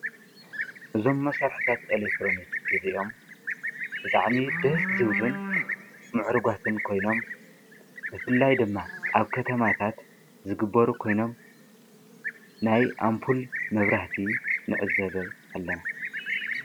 እዞም መሳሪሒታት ኤሌክትሮኒክ እዚኦም ብጣዕሚ ደስ ዝብሉን ሙዑርጋት ኮይኖም ብፍላይ ድማ ኣብ ከተማታት ዝግበሩ ኮይኖም ናይ ኣምፑል መብራህቲ ንዕዘብ ኢና።